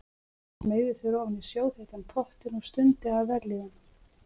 Hann smeygði sér ofan í sjóðheitan pottinn og stundi af vellíðan.